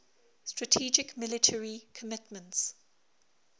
strategic military commitments